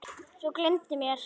Þau gleymdu mér.